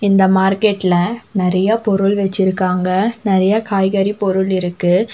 இந்த மார்கெட்ல நறைய பொருள் வெச்சிருக்காங்க. நறைய காய்கறி பொருள் இருக்கு.